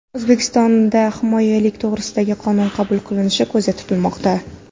O‘zbekistonda homiylik to‘g‘risida qonun qabul qilinishi ko‘zda tutilmoqda.